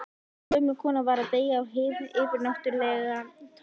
Gömul kona var að deyja og hið yfirnáttúrlega tók völdin.